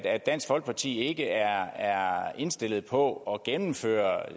at dansk folkeparti ikke er indstillet på at gennemføre